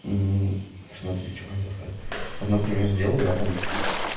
мм смотри что хотел сказать вот например сделал да там